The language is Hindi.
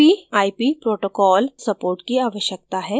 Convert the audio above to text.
tcp/ip protocol support की आवश्यकता है